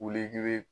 Wuli k'i be